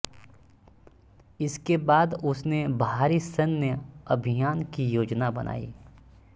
इसके बाद उसने भारी सैन्य अभियान की योजना बनाई